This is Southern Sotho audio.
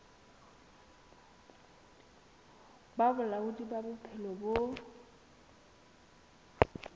ba bolaodi ba bophelo bo